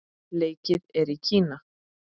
Leikið er í Kína.